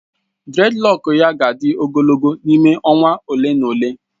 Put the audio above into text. Dreadlocks ya ga-adị ogologo n'ime ọnwa ole na ole.